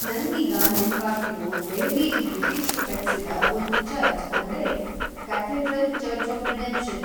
ನಂಗೀಗ ನೆನ್ಪಾಗ್ತಿರೋ ದೆಹಲಿಲಿ ಬ್ರಿಟಿಷರು ಕಟ್ಸಿದ ಒಂದು ಚರ್ಚ್ ಅಂದ್ರೆ ಕ್ಯಾಥೆಡ್ರಲ್ ಚರ್ಚ್ ಆಫ್ ರಿಡೆಂಪ್ಷನ್.